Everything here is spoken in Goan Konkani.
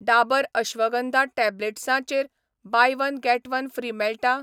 डाबर अश्वगंधा टॅब्लेट्सां चेर 'buy one get one free' मेळटा ?